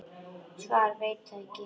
Svar: Veit það ekki.